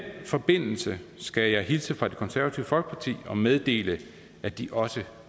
forbindelse skal jeg hilse fra det konservative folkeparti og meddele at de også